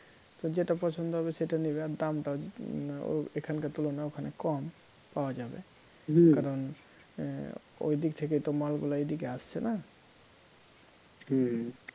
তো যেটা পছন্দ হবে সেটা নেবে আর দামটা ও~ এখানকার তুলনায় ওখানে কম পাওয়া যাবে কারণ ওইদিক থেকে তো মালগুলা এদিকে আসছে না